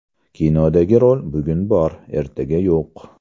Kinodagi rol bugun bor, ertaga yo‘q.